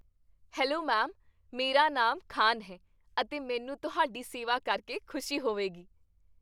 Hello ma'am, ਮੇਰਾ ਨਾਮ ਖਾਨ ਹੈ ਅਤੇ ਮੈਨੂੰ ਤੁਹਾਡੀ ਸੇਵਾ ਕਰਕੇ ਖੁਸ਼ੀ ਹੋਵੇਗੀ ।